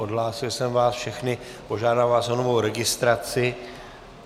Odhlásil jsem vás všechny, požádám vás o novou registraci.